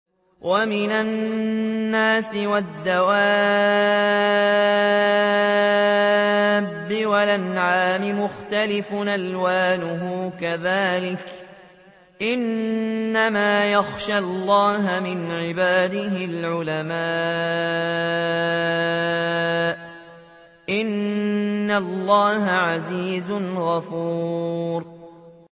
وَمِنَ النَّاسِ وَالدَّوَابِّ وَالْأَنْعَامِ مُخْتَلِفٌ أَلْوَانُهُ كَذَٰلِكَ ۗ إِنَّمَا يَخْشَى اللَّهَ مِنْ عِبَادِهِ الْعُلَمَاءُ ۗ إِنَّ اللَّهَ عَزِيزٌ غَفُورٌ